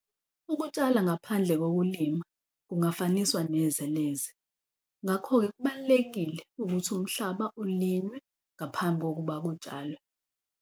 Ukutshala ngaphandle kokulima kungafaniswa neze neze, ngakho-ke kubalulekile ukuthi umhlaba ulinywe ngaphambi kokuba kutshalwe.